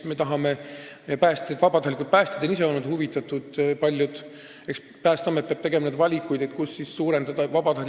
Me tahame parandada vabatahtlike päästjate oskusi tegutseda näiteks liiklusõnnetuste korral, paljud vabatahtlikud päästjad ise on ka olnud sellest huvitatud.